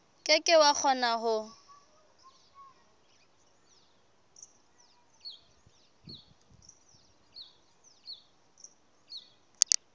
ke ke wa kgona ho